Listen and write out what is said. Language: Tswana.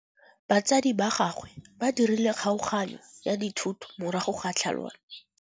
Batsadi ba gagwe ba dirile kgaoganyô ya dithoto morago ga tlhalanô.